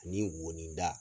Ani ni woni da.